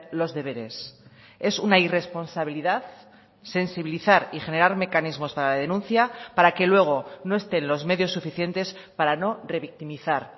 los deberes es una irresponsabilidad sensibilizar y generar mecanismos para la denuncia para que luego no estén los medios suficientes para no revictimizar